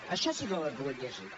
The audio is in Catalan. això sí que ho he pogut llegir